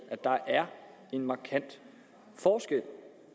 der er en markant forskel